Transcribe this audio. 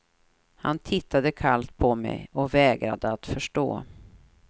Han tittade kallt på mig och vägrade att förstå.